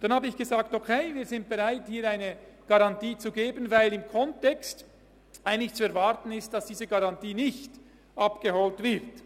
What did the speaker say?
Dann sagte ich: «Okay, wir sind bereit, eine Garantie zu geben, weil in diesem Kontext zu erwarten ist, dass diese Garantie nicht abgeholt wird.